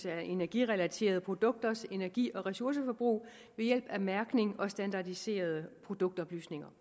af energirelaterede produkters energi og ressourceforbrug ved hjælp af mærkning og standardiserede produktoplysninger